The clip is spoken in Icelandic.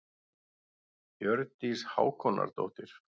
Hjördís Hákonardóttir.